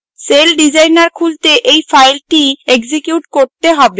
celldesigner খুলতে we file execute করতে have